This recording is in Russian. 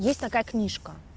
есть такая книжка